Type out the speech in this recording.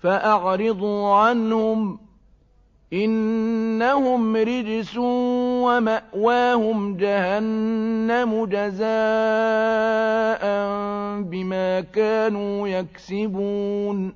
فَأَعْرِضُوا عَنْهُمْ ۖ إِنَّهُمْ رِجْسٌ ۖ وَمَأْوَاهُمْ جَهَنَّمُ جَزَاءً بِمَا كَانُوا يَكْسِبُونَ